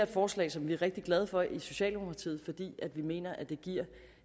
forslag som vi er rigtig glade for i socialdemokratiet fordi vi mener at det giver